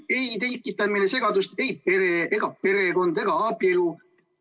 Ei tekitanud segadust ei perekond ega abielu.